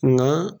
Nka